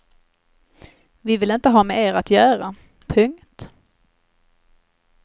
Vi vill inte ha med er att göra. punkt